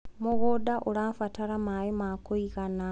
mũgũnda ũrabatara maĩ ma kũigana